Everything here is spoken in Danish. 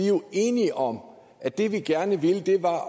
jo enige om at det vi gerne ville var at